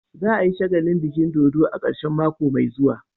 Za a yi shagalin biki dodo a karshen mako mai zuwa.